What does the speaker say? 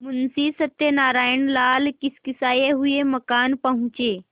मुंशी सत्यनारायणलाल खिसियाये हुए मकान पहुँचे